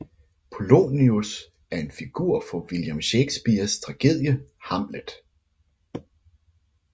Polonius er en figur fra William Shakespeares tragedie Hamlet